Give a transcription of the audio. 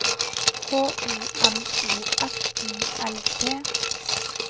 H O M O F I L T